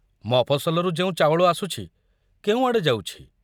ମଫସଲରୁ ଯେଉଁ ଚାଉଳ ଆସୁଛି, କେଉଁଆଡ଼େ ଯାଉଛି?